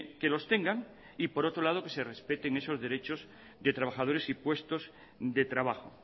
que los tengan y por otro lado que se respeten esos derechos de trabajadores y puestos de trabajo